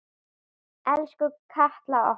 Elsku Katla okkar.